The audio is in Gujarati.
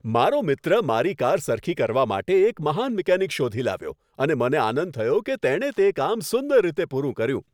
મારો મિત્ર મારી કાર સરખી કરવા માટે એક મહાન મિકેનિક શોધી લાવ્યો અને મને આનંદ થયો કે તેણે તે કામ સુંદર રીતે પૂરું કર્યું.